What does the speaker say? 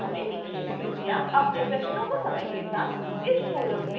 कृपया अपने प्रश्नों को समय के साथ इस forum में post करें